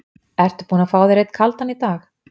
Ertu búinn að fá þér einn kaldan í dag?